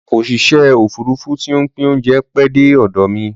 Osìṣẹ́ òfurufú ti ń pín óúnjẹ pẹ́ dé ọ̀dọ̀ mi